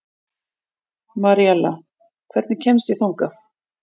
Maríella, hvernig kemst ég þangað?